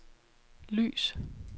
lys